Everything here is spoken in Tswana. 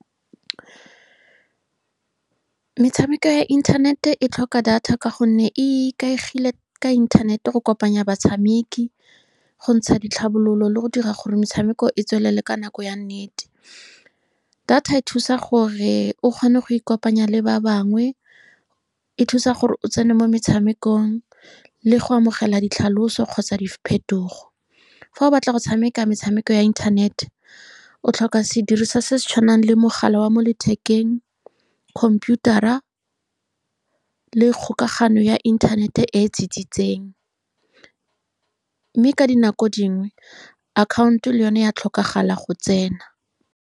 Metshameko ya internet-e e tlhoka data, ka gonne e ikaegile ka inthanete go kopanya batshameki, go ntsha ditlhabololo, le go dira gore metshameko e tswelele ka nako ya nnete. Data e thusa gore o kgone go ikopanya le ba bangwe, e thusa gore o tsene mo metshamekong le go amogela ditlhaloso kgotsa diphetogo. Fa o batla go tshameka metshameko ya internet-e, o tlhoka sediriswa se se tshwanang le mogala wa mo lethekeng, computer-ra, le kgokagano ya internet-e e tsitsitseng. Mme ka dinako dingwe, akhaonto le yone ya tlhokagala go tsena.